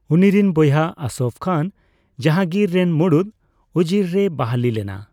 ᱩᱱᱤᱨᱮᱱ ᱵᱚᱭᱦᱟ ᱟᱥᱚᱯᱷ ᱠᱷᱟᱱ ᱡᱟᱦᱟᱝᱜᱤᱨ ᱨᱮᱱ ᱢᱩᱲᱩᱫ ᱩᱡᱤᱨ ᱨᱮᱭ ᱵᱟᱹᱦᱞᱤ ᱞᱮᱱᱟ ᱾